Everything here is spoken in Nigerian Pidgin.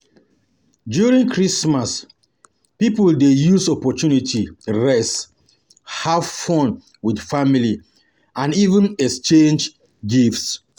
During Christmas pipo dey use opportunity rest, have fun with family and even exchange gifts